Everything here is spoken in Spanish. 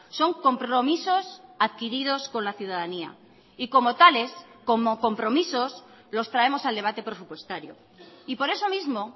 son compromisos adquiridos con la ciudadanía y como tales como compromisos los traemos al debate presupuestario y por eso mismo